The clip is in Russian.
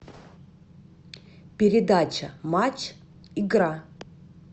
передача матч игра